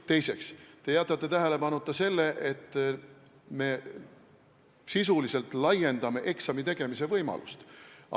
Teiseks jätsite tähelepanuta, et me sisuliselt laiendame eksami tegemise võimalust.